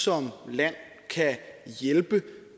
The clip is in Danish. som land kan hjælpe